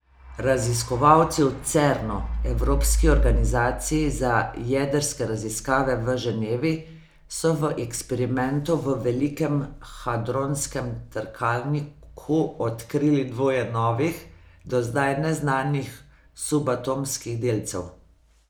Raziskovalci v Cernu, evropski organizaciji za jedrske raziskave v Ženevi, so v eksperimentu v Velikem hadronskem trkalniku odkrili dvoje novih, do zdaj neznanih subatomskih delcev.